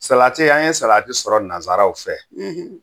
Salati an ye salati sɔrɔ nansaraw fɛ